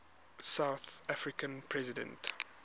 south african president